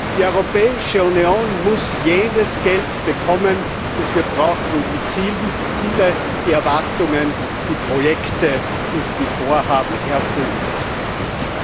Die Europäische Union muss das Geld bekommen, das wir brauchen, um die Ziele, die Erwartungen, die Projekte und die Vorhaben erfüllen zu können.